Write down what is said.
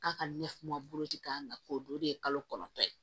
K'a ka ne kuma bolo ci k'a k'o don o de ye kalo kɔnɔntɔn ye